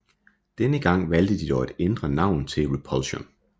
Denne gang valgte de dog at ændre navn til Repulsion